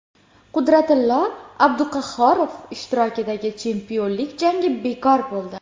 Qudratillo Abduqahhorov ishtirokidagi chempionlik jangi bekor bo‘ldi.